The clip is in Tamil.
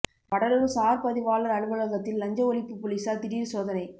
வடலூர் சார் பதிவாளர் அலுவலகத்தில் லஞ்ச ஒழிப்பு போலீசார் திடீர் சோதனை